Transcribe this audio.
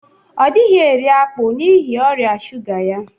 Ọ dighi eri akpụ n'ịhi ọria sụga ya.